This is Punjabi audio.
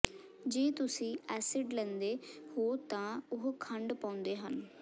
ਜੇ ਤੁਸੀਂ ਐਸਿਡ ਲੈਂਦੇ ਹੋ ਤਾਂ ਉਹ ਖੰਡ ਪਾਉਂਦੇ ਹਨ